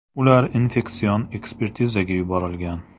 Ular infeksion ekspertizaga yuborilgan.